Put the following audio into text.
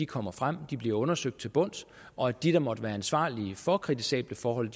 kommer frem bliver undersøgt til bunds og at de der måtte være ansvarlige for kritisable forhold